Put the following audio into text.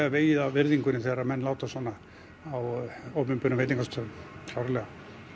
vegið að virðingunni þegar menn láta svona á opinberum veitingastöðum klárlega